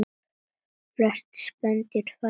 Flest spendýr fæða lifandi afkvæmi